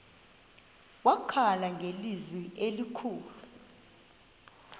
wakhala ngelizwi elikhulu